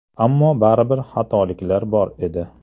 Ammo baribir xatoliklar bor edi.